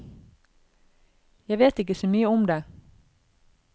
Jeg vet ikke så mye om det.